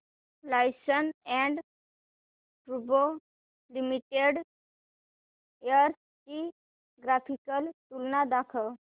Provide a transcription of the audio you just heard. Larsen and टुर्बो limited shares ची graphical तुलना दाखव